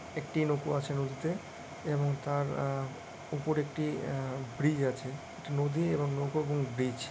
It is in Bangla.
একটি নৌকো আছে নদীতে এবং আ- তার ওপর একটি ই-য়ে ব্রিজ আছে একটি নদী এবং নৌকো ব্রিজ ।